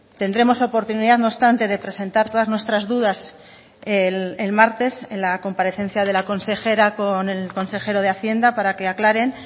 tendremos oportunidad no obstante de presentar todas nuestras dudas el martes en la comparecencia de la consejera con el consejero de hacienda para que aclaren